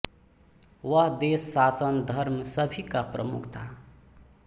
वह देश शासन धर्म सभी का प्रमुख था